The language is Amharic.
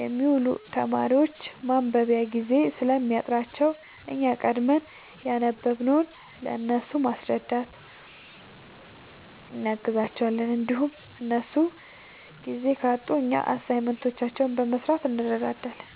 የሚውሉ ተማሪዎች ማንበቢያ ጊዜ ስለሚያጥራቸው እኛ ቀድመን ያነበብንውን ለእነሱ በማስረዳት እናግዛቸዋለን እንዲሁም እነሱ ጊዜ ካጡ እኛ አሳይመንቶችን በመስራት እንረዳዳለን